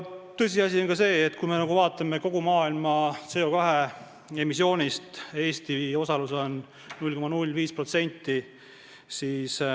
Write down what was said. Tõsiasi on ka see, et kogu maailma CO2 emissioonis on Eesti osalus 0,05%.